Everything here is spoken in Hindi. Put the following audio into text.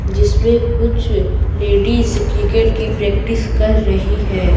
जिसमें कुछ लेडीज क्रिकेट की प्रैक्टिस कर रही हैं।